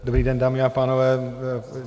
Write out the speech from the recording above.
Dobrý den, dámy a pánové.